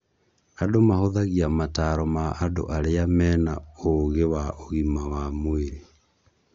Andũ mahũthagia mataro ma andũ arĩa mena ũgĩ wa ũgima wa mwĩrĩ.